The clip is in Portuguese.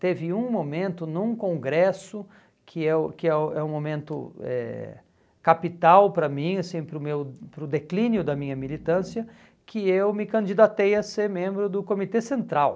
Teve um momento num congresso, que eu que é o é um momento eh capital para mim assim, para o meu para o declínio da minha militância, que eu me candidatei a ser membro do comitê central.